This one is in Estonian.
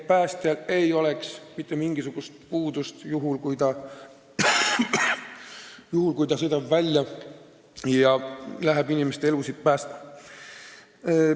Päästjal ei tohi olla mitte millestki puudust, kui ta sõidab välja, et inimeste elusid päästa.